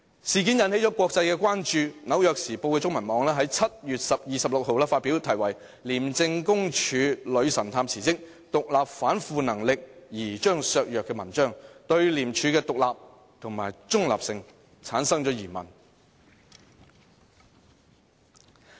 事件並引起國際關注，《紐約時報》中文網在7月26日發表題為"廉政公署女神探辭職，獨立反腐能力疑將削弱"的文章，對廉署的獨立和中立性提出疑問。